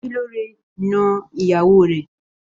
Semilore n nọ ìyàwó rẹ.